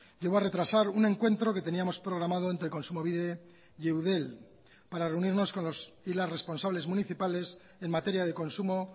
llevó a retrasar un encuentro que teníamos programado entre kontsumobide y eudel para reunirnos con los y las responsables municipales en materia de consumo